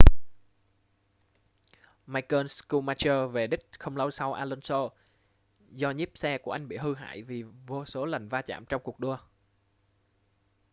michael schumacher về đích không lâu sau alonso do nhíp xe của anh bị hư hại vì vô số lần va chạm trong cuộc đua